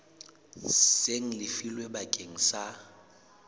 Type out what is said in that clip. seng le lefilwe bakeng sa